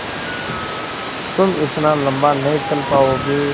तुम इतना लम्बा नहीं चल पाओगे